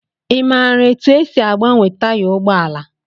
I maara etu e si agbanwe taya ụgbọala?